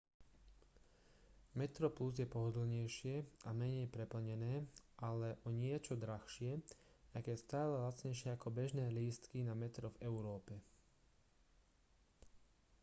metroplus je pohodlnejšie a menej preplnené ale o niečo drahšie aj keď stále lacnejšie ako bežné lístky na metro v európe